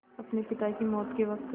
अपने पिता की मौत के वक़्त